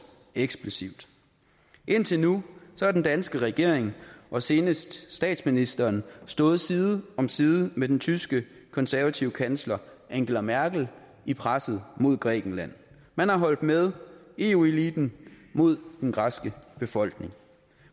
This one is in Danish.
eksplosivt indtil nu har den danske regering og senest statsministeren stået side om side med den tyske konservative kansler angela merkel i presset mod grækenland man har holdt med eu eliten mod den græske befolkning